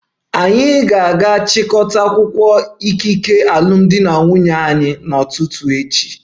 Anyị ga-aga chịkọta akwụkwọ ikike alụmdi na nwunye anyị n'ụtụtụ echi